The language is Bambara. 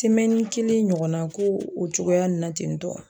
kelen ɲɔgɔnna ko o cogoya nin na ten tɔ.